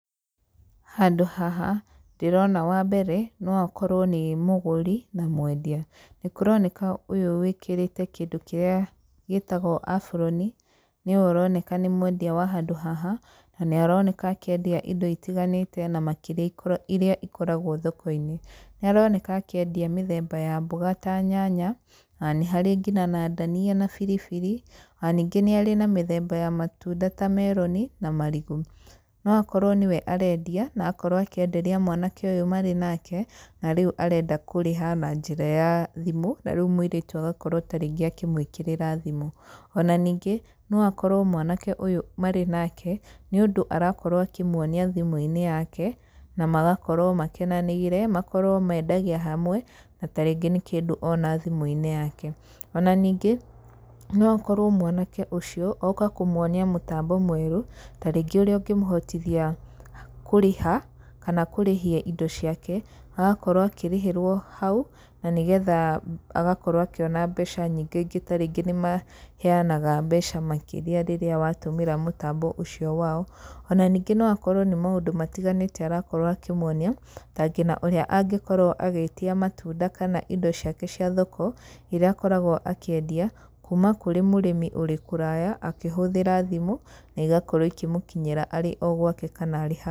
Handũ haha, ndĩrona wa mbere, no akorwo nĩ mũgũri, na mwendia. Nĩ kũroneka ũyũ wĩkĩrĩte kĩndũ kĩrĩa gĩtagwo aburoni, nĩwe ũroneka nĩ mwendia wa handũ haha, na nĩ aroneka akĩendia indo itiganĩte, na makĩria irĩa ikoragwo thoko-inĩ. Nĩ aroneka akĩendia mĩthemba ya mboga ta nyanya, ona nĩ harĩ ngina na ndania na biribiri. Ona ningĩ nĩ arĩ na mĩthemba ya matunda ta meroni, na marigũ. No akorwo nĩwe arendia, na akorwo akĩenderia mwanake ũyũ marĩ nake, na rĩu arenda kũrĩha na njĩra ya thimũ, na rĩu mũirĩtu agakorwo tarĩngĩ akĩmũĩkĩrĩra namba ya thimũ. Ona ningĩ no akorwo mwanake ũyũ marĩ nake, nĩ ũndũ arakorwo akĩmuonia thimũ-inĩ yake, na magakorwo makenanĩire, makorwo mendagia hamwe, na tarĩngĩ nĩ kĩndũ ona thimũ-inĩ yake. Ona ningĩ, no akorwo mwanake ũcio, oka kũmuonia mũtambo mwerũ, tarĩngĩ ũrĩa ũngĩmũhotithia kũrĩha, kana kũrĩhia indo ciake. Agakorwo akĩrĩhĩrwo hau, na nĩgetha agakorwo akĩona mbeca nyinga ingĩ, tarĩngĩ nĩ maheanaga mbeca makĩria rĩrĩa watũmĩra mũtambo ũcio wao. Ona ningĩ no akorwo nĩ maũndũ matiganĩte arakorwo akĩmuonia, ta ngina ũrĩa angĩkorwo agĩtia matunda kana indo ciake cia thoko, irĩa akoragwo akĩendia, kuuma kũrĩ mũrĩmi ũrĩ kũraya, akĩhũthĩra thimũ, na igakorwo ikĩmũkinyĩra arĩ o gwake kana.